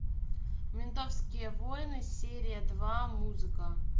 ментовские войны серия два музыка